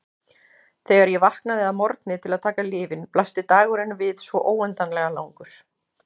Þegar ég vaknaði að morgni til að taka lyfin blasti dagurinn við svo óendanlega langur.